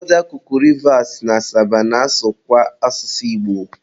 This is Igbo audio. ụfọdụ akụkụ Rivas na Asaba na-asụkwa asụsụ Igbo.